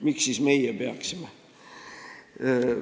Miks siis meie peaksime?